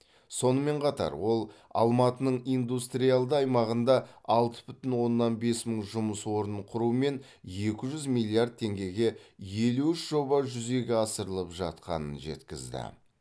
сонымен қатар ол алматының индустриалды аймағында алты бүтін оннан бес мың жұмыс орнын құрумен екі жүз миллиард теңгеге елу үш жоба жүзеге асырылып жатқанын жеткізді